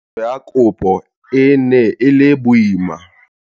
Tsamaiso ya kopo e ne e le boima.